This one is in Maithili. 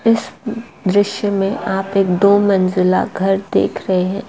इस दृश्य में आप एक दो मंजिला घर देख रहे हैं।